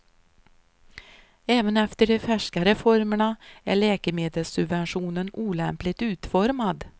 Även efter de färska reformerna är läkemedelssubventionen olämpligt utformad.